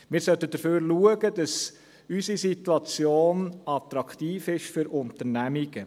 Wir sollten dafür sorgen, dass unsere Situation attraktiv ist für Unternehmungen.